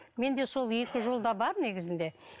менде сол екі жол да бар негізінде